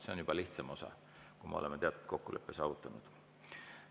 See on juba lihtsam osa, kui me oleme teatud kokkuleppe saavutanud.